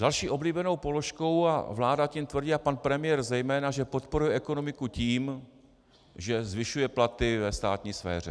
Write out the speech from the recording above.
Další oblíbenou položkou, a vláda tím tvrdí a pan premiér zejména, že podporuje ekonomiku tím, že zvyšuje platy ve státní sféře.